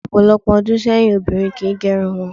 Ní ò̩pò̩lo̩pò̩ o̩dún sé̩yìn, obìnrin kì í ge̩run wo̩n